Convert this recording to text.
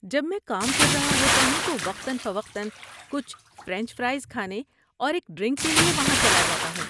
جب میں کام کر رہا ہوتا ہوں تو وقتا فوقتا کچھ فرنچ فرائز کھانے اور ایک ڈرنک کے لیے وہاں چلا جاتا ہوں۔